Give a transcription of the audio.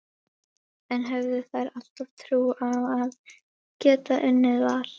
En höfðu þær alltaf trú á að geta unnið Val?